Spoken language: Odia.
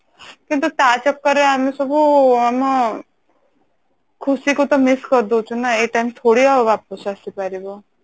କିନ୍ତୁ ତା ଚକରରେ ଆମେ ସବୁ ଆମ ଖୁସି କୁ ତ miss କରି ଦଉଛୁ ନା ଏଇ time ଥୋଡି ଆଉ ୱାପସ ଆସିପାରିବ